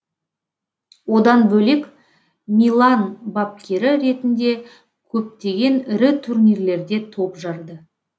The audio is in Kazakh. одан бөлек милан бапкері ретінде көптеген ірі турнирлерде топ жарды